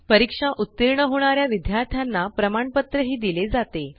परीक्षा उत्तीर्ण होणाऱ्या विद्यार्थ्यांना प्रमाणपत्र दिले जाते